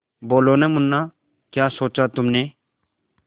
बोलो न मुन्ना क्या सोचा तुमने